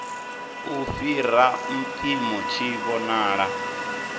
u fhira mpimo tshi vhonala